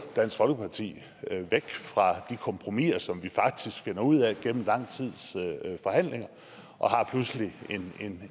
dansk folkeparti væk fra de kompromiser som vi faktisk finder ud af igennem lang tids forhandlinger og har pludselig